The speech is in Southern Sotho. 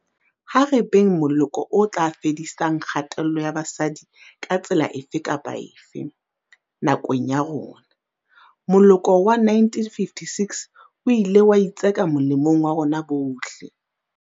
Ha re beng moloko o tla fedisang kgatello ya basadi ka tsela efe kapa efe, nakong ya rona. Moloko wa 1956 o ile wa itseka molemong wa rona bohle.